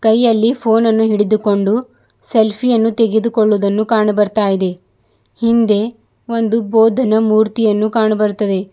ಕೈಯಲ್ಲಿ ಫೋನನ್ನು ಹಿಡಿದುಕೊಂಡು ಸೆಲ್ಫಿಯನ್ನು ತೆಗೆದುಕೊಳ್ಳುತ್ತಿರುವುದು ಕಾಣು ಬರುತ್ತಿದೆ ಹಿಂದೆ ಒಂದು ಬೋಧನಾ ಮೂರ್ತಿಯನ್ನು ಕಾಣ ಬರುತ್ತದೆ.